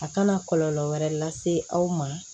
A kana kɔlɔlɔ wɛrɛ lase aw ma